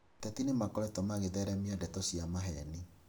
Ateti nĩmakoretwo magĩtheremia ndeto cia maheni